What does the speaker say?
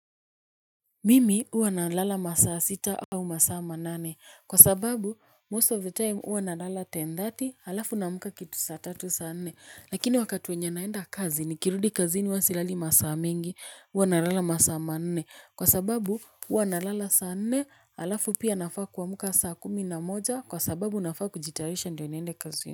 Mimi uwa na lala masaa sita au masaa manane kwa sababu most of the time uwa nalala ten thirty alafu naamuka kitu saa tatu saa nne lakini wakati wenye naenda kazi nikirudi kazini huwa silali masaa mingi uwa na lala masaa manne kwa sababu uwa nalala saa nne alafu pia nafaa kuamuka saa kumi na moja kwa sababu nafaa kujitayarisha ndio niende kazini.